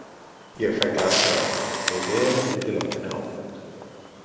Ég fæ glasið aftur með vel útilátinni ábót.